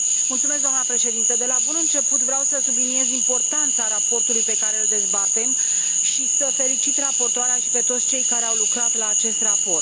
Doamnă președintă, de la bun început vreau să subliniez importanța raportului pe care îl dezbatem și să felicit raportoarea și pe toți cei care au lucrat la acest raport.